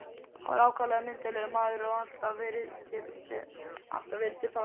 Hann var ákaflega myndarlegur maður og alltaf vel til fara.